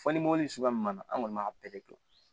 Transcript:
Fɔ ni mɔbili suguya m an kɔni b'a bɛɛ de kɛ